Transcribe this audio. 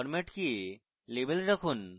format কে label রাখুন